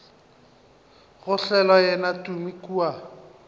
go hlola yena tumi kua